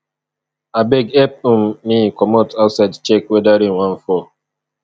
abeg help um me comot outside check weather rain wan fall